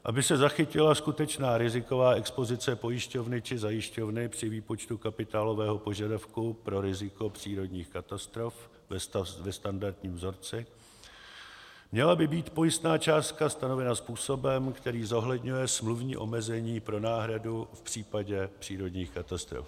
Aby se zachytila skutečná riziková expozice pojišťovny či zajišťovny při výpočtu kapitálového požadavku pro riziko přírodních katastrof ve standardním vzorci, měla by být pojistná částka stanovena způsobem, který zohledňuje smluvní omezení pro náhradu v případě přírodních katastrof.